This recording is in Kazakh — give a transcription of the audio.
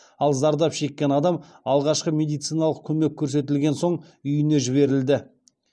ал зардап шеккен адам алғашқы медициналық көмек көрсетілген соң үйіне жіберілді